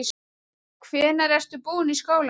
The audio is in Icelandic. Hvenær ertu búinn í skólanum?